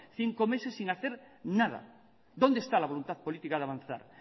cinco meses sin hacer nada dónde está la voluntad política de avanzar